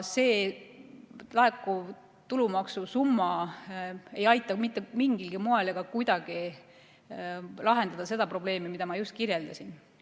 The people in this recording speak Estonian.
Laekuv tulumaksusumma ei aita mitte mingilgi moel ega kuidagi lahendada seda probleemi, mida ma just kirjeldasin.